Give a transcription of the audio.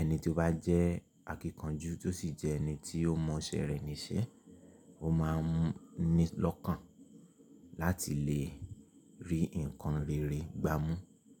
ẹni tí ó bá jẹ́ akíkanjú tí ó sì jẹ́ ẹni tí ó mọ iṣẹ́ rẹ̀ níṣẹ́, ó máa ń ní lọ́kàn láti lè rí ǹkan rere gbámú.